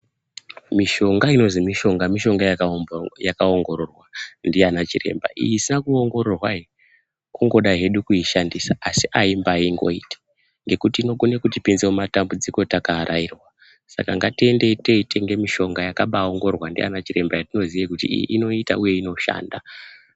Mishonga inozwi mishonga mishonga yakaongororwa ndiana chiremba. Iyi isina kuongororwa iyi kungoda hedu kuishandisa asi aimbangoiti ngekuti inokone kutipinza mumatambudziko takaarairwa saka ngatiendeyi teitenga mishonga yakabaongororwa ndiana chiremba yetinoziya kuti iyi inoita uye inoshanda.